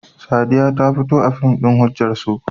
Sadiya ta fito a fim ɗin "Hujjar So"?